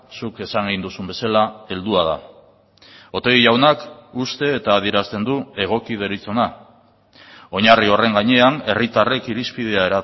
zuk esan egin duzun bezala heldua da otegi jaunak uste eta adierazten du egoki deritzona oinarri horren gainean herritarrek irizpidea